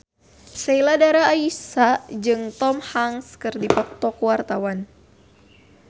Sheila Dara Aisha jeung Tom Hanks keur dipoto ku wartawan